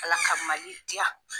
ALA ka MALI diya.